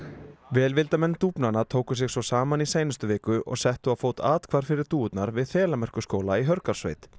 velvildarmenn tóku sig svo saman í seinustu viku og settu á fót athvarf fyrir dúfurnar við Þelamerkurskóla í Hörgársveit